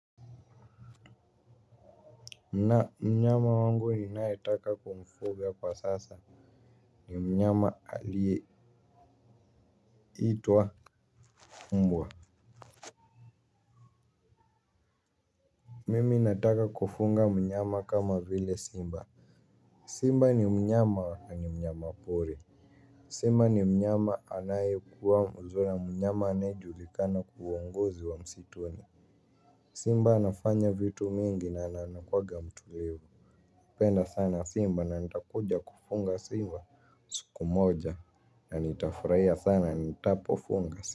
Na mnyama wangu ninayetaka kumfuga kwa sasa ni mnyama aliyeitwa mbwa. Mimi nataka kufunga mnyama kama vile simba. Simba ni mnyama na ni mnyama pori. Simba ni mnyama anayekuwa mnyama anayejulikana kuongozi wa msituni. Simba anafanya vitu mingi na anakuwaga mtulivu. Penda sana simba na nitakuja kufunga simba siku moja na nitafurahia sana nitapofunga simba.